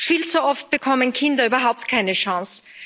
Viel zu oft bekommen Kinder überhaupt keine Chance.